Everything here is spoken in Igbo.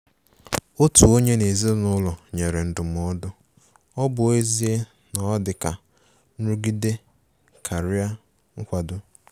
Otu onye n' ezinụlọ nyere ndụmọdụ,ọ bụ ezie na o dị ka nrụgide karịa nkwado.